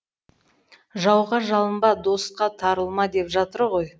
жауға жалынба досқа тарылма деп жатыр ғой